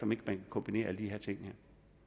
man kan kombinere alle de her ting